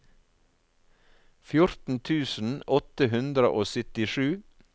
fjorten tusen åtte hundre og syttisju